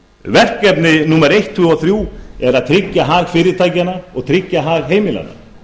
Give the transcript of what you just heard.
verkefni númer eitt tvö og þrjú er að tryggja hag fyrirtækjanna og tryggja hag heimilanna